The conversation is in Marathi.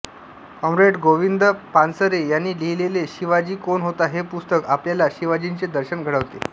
कॉ गोविंद पानसरे यांनी लिहिलेले शिवाजी कोण होता हे पुस्तक आपल्याला शिवाजींचे दर्शन घडवते